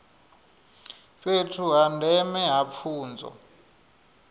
fhethu ha ndeme ha pfunzo